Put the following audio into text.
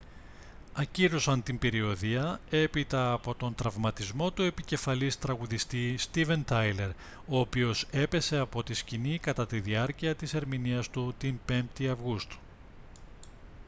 ακύρωσαν την περιοδεία έπειτα από τον τραυματισμό του επικεφαλής τραγουδιστή στίβεν τάιλερ ο οποίος έπεσε από τη σκηνή κατά τη διάρκεια της ερμηνείας του την 5η αυγούστου